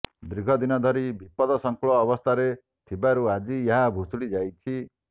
ଦିର୍ଘଦିନ ଧରି ବିପଦ ସଂଙ୍କୁଳ ଅବସ୍ଥାରେ ଥିବାରୁ ଆଜି ଏହା ଭୁଷୁଡ଼ି ଯାଇଛି